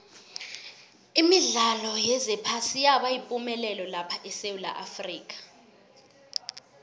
imidlalo yephasi yaba yipumelelo lapha esewula afrika